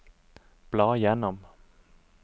bla gjennom